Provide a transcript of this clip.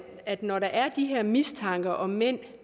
at når der er de her mistanker om mænd